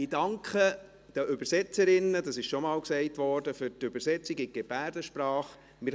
Ich danke den Übersetzerinnen für die Übersetzung in die Gebärdensprache, wie bereits gesagt wurde.